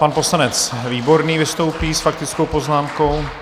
Pan poslanec Výborný vystoupí s faktickou poznámkou.